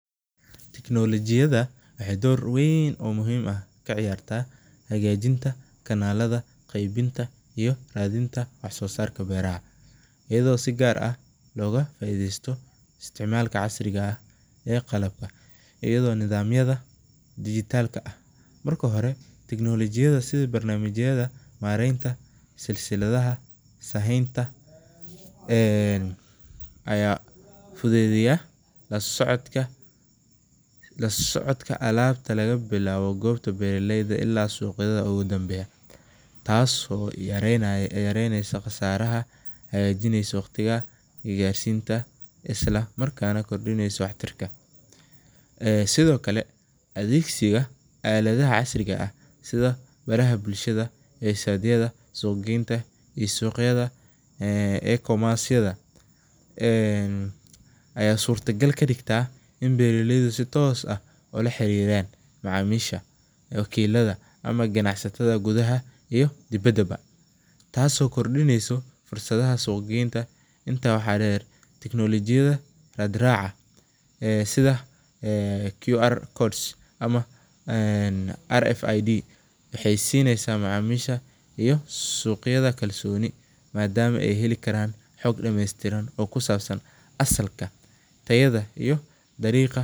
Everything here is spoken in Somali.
Teknolojiyada waxeey door weyn kaciyaarta hagaajinta ayadi si fican loo isticmaala, waxeey hagajiya mareenta, ayaa fudeediya lasocodka alaabta taas oo yareneysa daqaalaha, sido kale adeegsiga, iyo suuq geenta, ayaa suurta gal kadigtaa ganacsada dibada iyo kuwawdalka, ama waxeey sineysa suuqyada kalsooni.